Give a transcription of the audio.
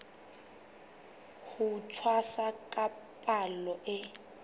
ho tshwasa ka palo e